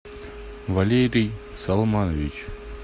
валерий салманович